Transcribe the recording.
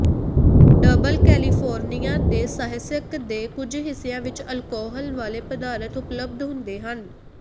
double California ਦੇ ਸਾਹਿਸਕ ਦੇ ਕੁਝ ਹਿੱਸਿਆਂ ਵਿੱਚ ਅਲਕੋਹਲ ਵਾਲੇ ਪਦਾਰਥ ਉਪਲਬਧ ਹੁੰਦੇ ਹਨ